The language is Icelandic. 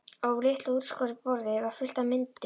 Á litlu útskornu borði var fullt af myndum.